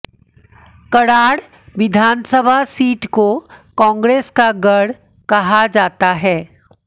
कराड़ विधानसभा सीट को कांग्रेस का गढ़ कहा जाता है